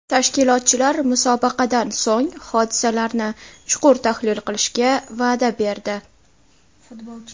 Tashkilotchilar musobaqadan so‘ng, hodisalarni chuqur tahlil qilishga va’da berdi.